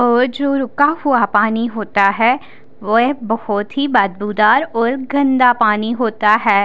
और जो रुका हुआ पानी होता है वह बहोत ही बदबूदार और गंधा पानी होता है।